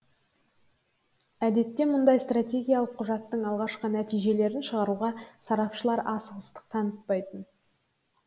әдетте мұндай стратегиялық құжаттың алғашқы нәтижелерін шығаруға сарапшылар асығыстық танытпайтын